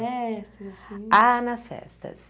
Festas Ah, nas festas.